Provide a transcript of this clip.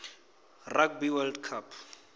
rugby world cup